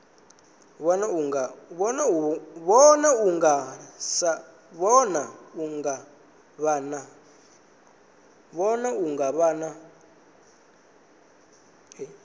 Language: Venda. vhona u nga vha na